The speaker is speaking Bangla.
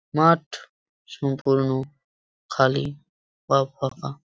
মাঠ সম্পূর্ণ খালি বা ফাঁকা ।